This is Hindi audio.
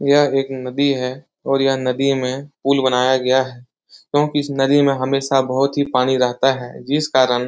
यह एक नदी है और यहाँ नदी में पुल बनाया गया है क्योंकि इस नदी में हमेशा बहुत ही पानी रहता है जिस कारण --